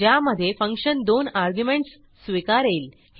ज्यामधे फंक्शन दोन अर्ग्युमेंटस स्वीकारेल